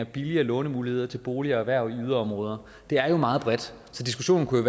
billigere lånemuligheder til bolig og erhverv i yderområder det er jo meget bredt så diskussionen kunne